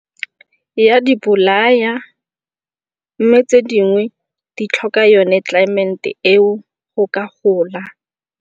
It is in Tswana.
Ya di bolaya mme tse dingwe di tlhoka yone climate-e eo go ka gola.